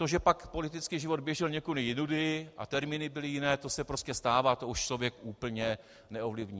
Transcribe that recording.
To, že pak politický život běžel někudy jinudy a termíny byly jiné, to se prostě stává, to už člověk úplně neovlivní.